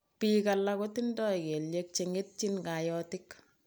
Piik alak ko tindoi kelyek che ngetchin kaotik